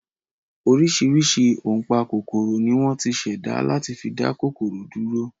Oríṣiríṣi ọ̀npákòkòrò ni wọ́n ti ṣẹ̀dá láti fi dá kòkòrò dúró